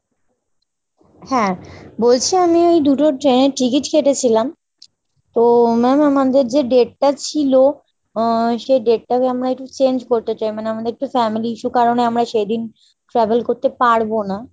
হ্যাঁ। বলছি আমি ওই দুটো train এর ticket কেটেছিলাম। তো ma'am আমাদের যে date টা ছিল আহ সেই date টাকে আমরা একটু change করতে চাই, মানে আমাদের একটু family issue কারণে আমরা সেইদিন travel করতে পারবো না।